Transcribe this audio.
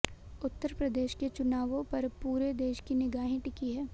उत्तर प्रदेश के चुनावों पर पूरे देश की निगाहें टिकी हैं